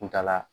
Kuntaala